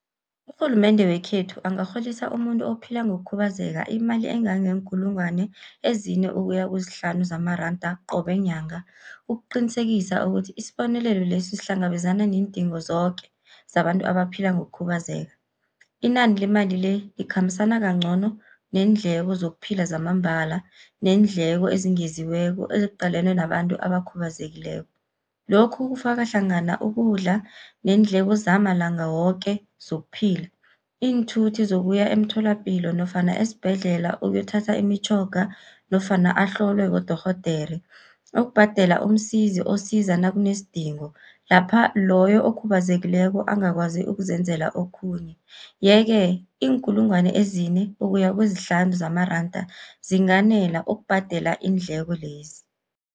Urhulumende wekhethu angarholisa umuntu ophila ngokukhubazeka, imali engangeenkulungwana ezine ukuya kezihlanu zamaranda qobe nyanga, ukuqinisekisa ukuthi isibonelelo lesi sihlangabezana neendingo zoke, zabantu abaphila ngokukhubazeka. Inani lemali le ikhambisana kancono neendleko zokuphila zamambala, neendleko ezingeziweko eziqalene nabantu abakhubazekileko. Lokhu kufaka hlangana ukudla, neendleko zamalanga woke zokuphila, iinthuthi zokuya emtholapilo nofana esibhedlela ukuyothatha imitjhoga nofana ahlolwe bodorhodere, ukubhadela umsizi osiza nakunesidingo lapha loyo okhubazekileko angakwazi ukuzenzela okhunye. Ye-ke iinkulungwana ezine ukuya kezihlanu zamaranda zinganela ukubhadela iindleko lezi.